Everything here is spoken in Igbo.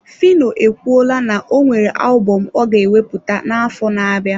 Phyno ekwuola na o nwere alubom ọ ga ewepụta n'afọ na-abịa.